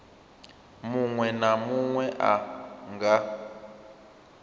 munwe na munwe a nga